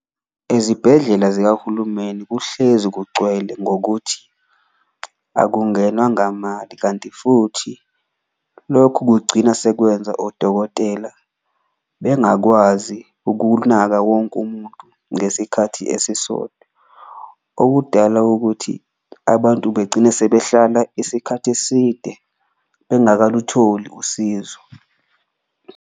Ezibhedlela zikahulumeni kuhlezi kugcwele ngokuthi akungenwa ngamali, kanti futhi lokhu kugcina sekwenza odokotela bengakwazi ukunaka wonke umuntu ngesikhathi esisodwa. Okudala ukuthi abantu begcine sebehlala isikhathi eside bengakalutholi usizo.